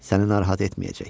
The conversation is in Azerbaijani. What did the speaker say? Səni narahat etməyəcək.